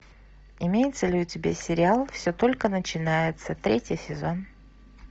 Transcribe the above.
имеется ли у тебя сериал все только начинается третий сезон